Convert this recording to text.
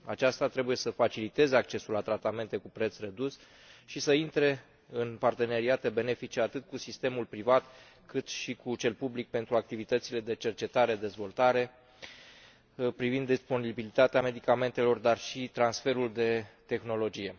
Aceasta trebuie să faciliteze accesul la tratamente cu preț redus și să intre în parteneriate benefice atât cu sistemul privat, cât și cu cel public pentru activitățile de cercetare dezvoltare privind disponibilitatea medicamentelor, dar și transferul de tehnologie.